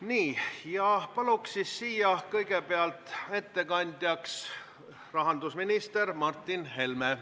Nii, palun siia kõigepealt ettekandjaks rahandusminister Martin Helme.